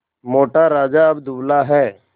मोटा राजा अब दुबला है